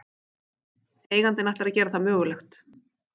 Eigandinn ætlar að gera það mögulegt